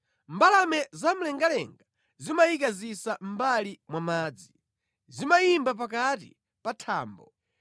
Mbalame zamlengalenga zimayika zisa mʼmbali mwa madzi; zimayimba pakati pa thambo.